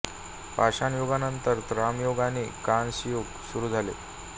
पाषाण युगानंतर ताम्रयुग आणि कांस्य युग सुरू झाले